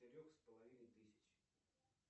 трех с половиной тысяч